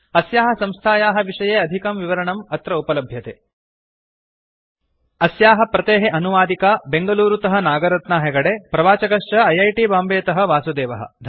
अस्याः संस्थायाः विषये अधिकं विवरणम् अत्र उपलभ्यते httpspoken tutorialorgNMEICT Intro अस्याः प्रतेः अनुवादिका बेंगलूरुतः नागरत्ना हेगडे प्रवाचकश्च ऐ ऐ टी बांबेतः वासुदेवः